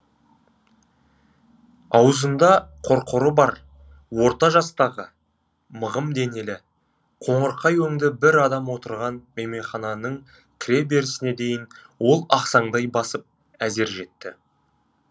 аузында қорқоры бар орта жастағы мығым денелі қоңырқай өңді бір адам отырған мейменхананың кіре берісіне дейін ол ақсаңдай басып әзер жетті